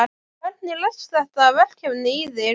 Hvernig leggst þetta verkefni í þig?